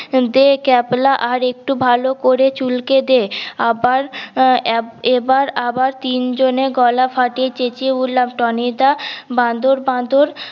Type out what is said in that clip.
দে ক্যাবলা আর একটু ভাল করে চুলকে দে আবার এবার আবার তিন জন এ গলা ফাটিয়ে চেঁচিয়ে বললাম টনি দা বাঁদর বাঁদর